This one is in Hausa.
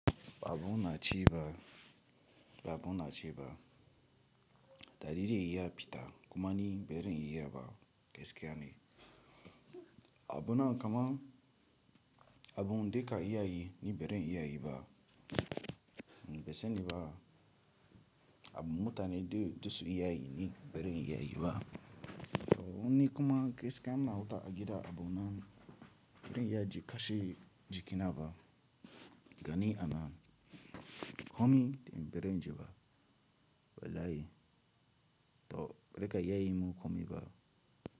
Abun na ci ba, abun na ci ba. Tari re iya pita kuma ni beren iya ba gaskiya ne. Abuna kama abun da ka iya yi ni ba zan iya yi ba. Ban sa ni ba abun da mutane za su iya yi ni ba zan iya yi ba. To ni kuma gaskiya ina huta a gida abu na beren ya kashi jikinaba gani ana komi tin beren ji ba. Welayi to re ka iya yi mu komi ba.